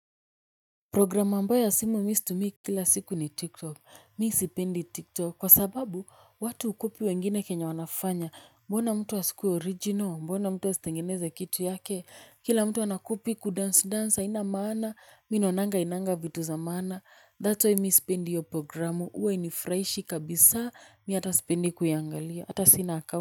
Program ambayo ya simu mimi situmii. Kila siku ni tiktok mimi sipendi tiktok kwa sababu watu hucopy wengine kenye wanafanya mbona mtu asikuwe original mbona mtu asitengeneze kitu yake kila mtu anacopy kudance dance haina maana mimi naonanga hainanga vitu za maana that's way mimi sipendi hiyo programu huwa hainifurahishi kabisa mimi hata sipendi kuiangalia hata sina account.